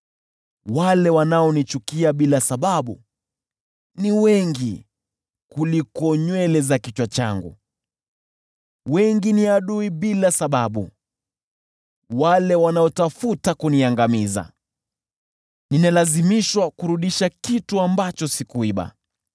Wale wanaonichukia bila sababu ni wengi kuliko nywele za kichwa changu; wengi ni adui kwangu bila sababu, wale wanaotafuta kuniangamiza. Ninalazimishwa kurudisha kitu ambacho sikuiba.